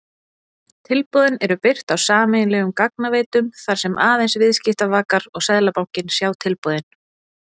Tilboðin eru birt á sameiginlegum gagnaveitum þar sem aðeins viðskiptavakar og Seðlabankinn sjá tilboðin.